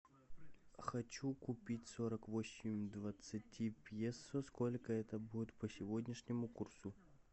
хочу купить сорок восемь двадцати песо сколько это будет по сегодняшнему курсу